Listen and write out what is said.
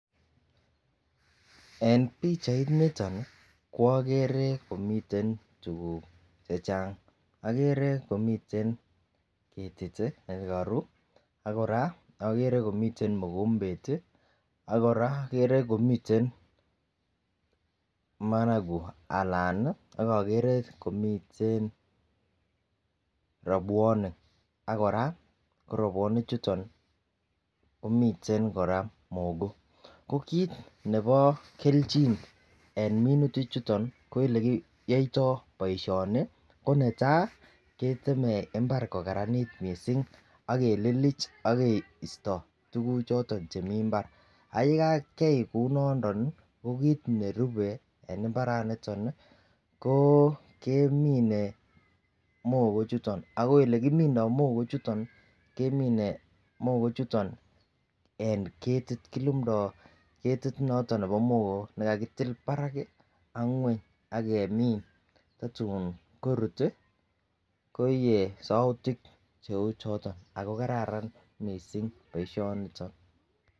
En pichainiton ko okere komiten tukuk chechang, okere komiten ketik tii nekoru ak Koraa okere komiten mokombet tii ak kora okere komiten managu anan nii okokere komiten robwonik ak Koraa ko robwonik chuton komiten Koraa mogo. Ko kit nebo keljin en minutik chuton ko olekiyoito boishoni ko netai ketemen imbar kokaranit missing ak kelilich ak keiato tukuk choton che mii imbar, ak yekakia kou nondon ko kit nerube en imbaraniton nii ko kemine mogo chuton ako ole kimindo mogo chuton nii kemine mogo chuton en ketit kilumdo ketit noton nebo mogo nekakitil barak ak ngwony ak kemin tatun korut tii koiye soutik cheu choton ako kararan missing boishoniton.